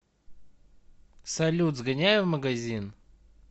салют сгоняй в магазин